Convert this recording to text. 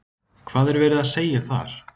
Hvað er verið að segja þar?